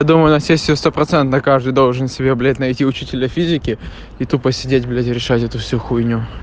думаю на сессию стопроцентно каждый должен себе блять найти учителя физики и тупо сидеть блять решать эту всю хуйню